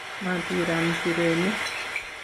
matiram nchirenik